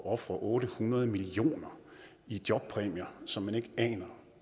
at ofre otte hundrede million kroner i jobpræmier som man ikke aner